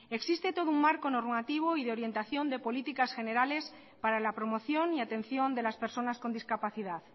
existe todo un marco normativo y de orientación de políticas generales para la promoción y atención de las personas con discapacidad